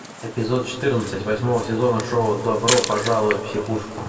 эпизод четырнадцать восьмого сезона шоу добро пожаловать в психушку